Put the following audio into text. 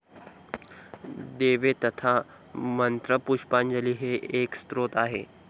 देवे तथा मंत्रपुष्पांजली हे एक स्तोत्र आहे.